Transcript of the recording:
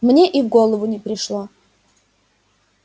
мне и в голову не пришло